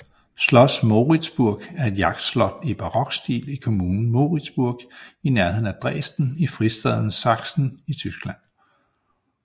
Schloss Moritzburg er et jagtslot i barokstil i kommunen Moritzburg i nærheden af Dresden i fristaten Sachsen i Tyskland